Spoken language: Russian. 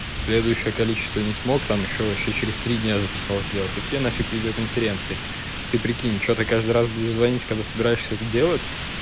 следующее количество не смог там ещё вообще через три дня записал сделал какие нафиг видеоконференции ты прикинь что ты каждый раз будешь звонить когда собираешься это делать